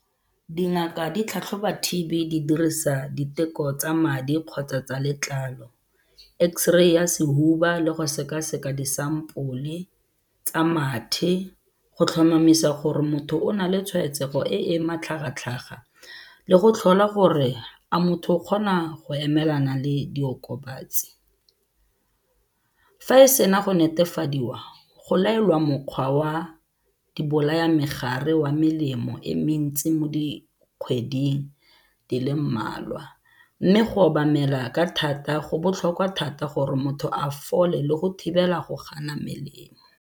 Dingaka di tlhatlhoba T_B di dirisa diteko tsa madi kgotsa tsa letlalo, X-ray-i ya sehuba le go sekaseka disampole tsa mathe go tlhomamisa gore motho o na le tshwaetsego e e matlhagatlhaga le go tlhola gore a motho o kgona go emelana le diokobatsi. Fa e sena go netefadiwa, go laelwa mokgwa wa dibolayamegare wa melemo e mentsi mo dikgweding di le mmalwa mme go obamela ka thata go botlhokwa thata gore motho a fole le go thibela go gana melemo.